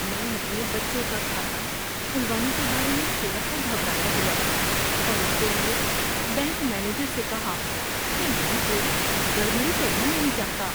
میں اپنے بچے کا کھاتہ کھلوانے کے بارے میں تھوڑا سا گھبرایا ہوا تھا اور اس لیے بینک مینیجر سے کہا کہ میں کوئی گڑبڑی کرنا نہیں چاہتا۔